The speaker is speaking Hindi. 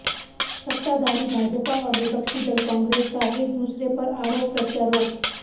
सत्ताधारी भाजपा और विपक्षी दल कांग्रेस का एक दूसरे पर आरोप प्रत्यारोप